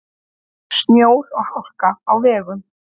Snjór og hálka á vegum